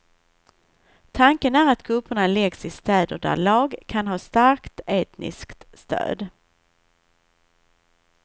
Tanken är att grupperna läggs i städer där lag kan ha starkt etniskt stöd.